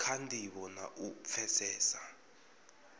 kha ndivho na u pfesesa